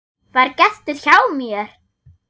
VAR GESTUR HJÁ MÉR!